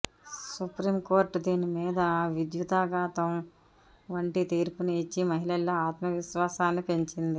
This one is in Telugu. సుప్రీంకోర్టు దీని మీద విద్యుదాఘాతం వంటి తీర్పును ఇచ్చి మహిళల్లో ఆత్మవిశ్వాసాన్ని పెంచింది